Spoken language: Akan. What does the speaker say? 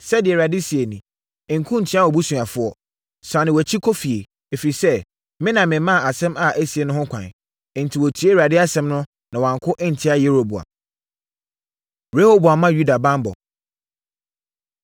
Sɛdeɛ Awurade seɛ nie: ‘Nko ntia wʼabusuafoɔ. Sane wʼakyi kɔ efie, ɛfiri sɛ, me na memaa asɛm a asie no ho kwan!’ ” Enti, wɔtiee Awurade asɛm no, na wɔanko antia Yeroboam. Rehoboam Ma Yuda Banbɔ